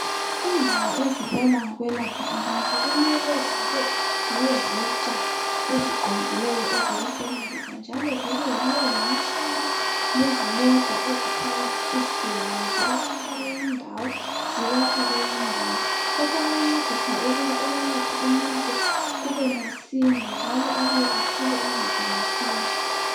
lndawo ezibona ngokwelapha abantu kumele zibe lezitsha eziqondileyo ezokusebenzisa njalo zibe lemitshina lezimota ezithwala izigulane zibasusa kweyinye indawo zibasa kweyinye indawo. Lokho kuyancedisa ukuba ukwelapha umuntu kube masinya njalo abuye athole uncedo masinya.